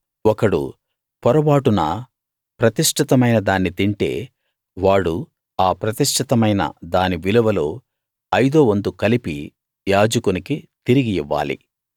ఒకడు పొరబాటున ప్రతిష్ఠితమైన దాన్ని తింటే వాడు ఆ ప్రతిష్ఠితమైన దాని విలువలో ఐదో వంతు కలిపి యాజకునికి తిరిగి ఇవ్వాలి